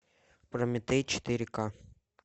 прометей четыре ка